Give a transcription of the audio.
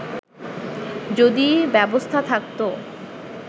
যদি ব্যবস্থা থাকতো